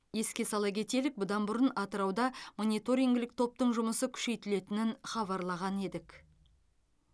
еске сала кетелік бұдан бұрын атырауда мониторингілік топтың жұмысы күшейтілетінін хабарлаған едік